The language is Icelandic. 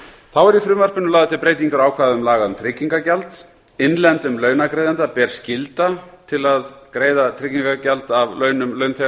þá eru í frumvarpinu lagðar til breytingar á ákvæðum laga um tryggingagjald innlendum launagreiðanda ber skylda til að greiða tryggingagjald af launum launþega